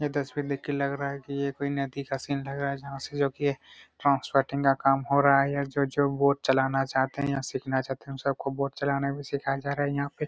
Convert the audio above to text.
यह तस्वीर देख कर लग रहा हैं की यह कोई नदी का सीन लग रहा हैं जहाँ से जो की ट्रांसपोर्ट का काम हो रहा हैं यहाँ जो जो बोट चलना चाहते हैं या सीखना चाहते हैं वो सब को बोट चलना भी सिखाये जा रहा हैं।